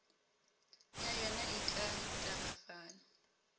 ya yona e ka tagafala